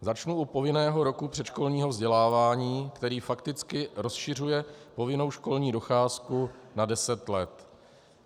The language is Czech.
Začnu u povinného roku předškolního vzdělávání, který fakticky rozšiřuje povinnou školní docházku na deset let.